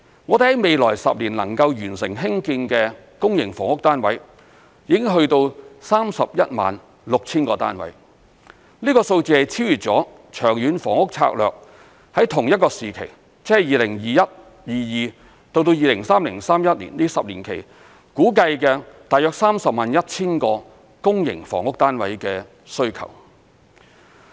我們在未來10年能夠完成興建的公營房屋單位已達到 316,000 個單位，這個數字超越了《長遠房屋策略》在同一個時期，即 2021-2022 至 2030-2031 年度這10年期，估計的大約 301,000 個公營房屋單位的需求。